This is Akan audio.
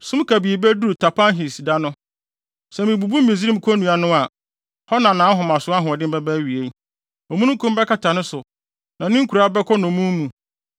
Sum kabii beduru Tapanhes, da no sɛ mibubu Misraim konnua no a; hɔ na nʼahomaso ahoɔden bɛba awiei. Omununkum bɛkata no so, na ne nkuraa bɛkɔ nnommum mu.